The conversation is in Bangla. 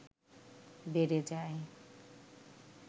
বেড়ে যায়